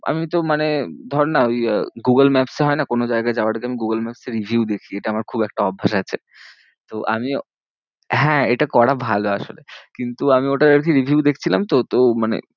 আমিতো মানে ধরনা ওই আহ গুগল maps এ হয়না কোনো জায়গায় যাওয়ার জন্য গুগল maps এর review দেখি। এটা আমার খুব একটা অভ্যেস আছে। তো আমি হ্যাঁ এটা করা ভালো আসলে, কিন্তু আমি ওটার আরকি review দেখছিলাম তো। তো মানে